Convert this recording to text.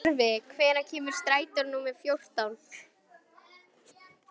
Tjörvi, hvenær kemur strætó númer fjórtán?